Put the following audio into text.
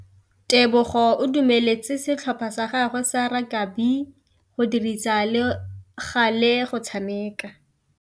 Tebogô o dumeletse setlhopha sa gagwe sa rakabi go dirisa le galê go tshameka.